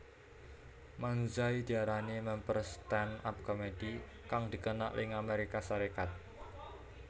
Manzai diarani mèmper stand up comedy kang dikenal ing Amérika Sarékat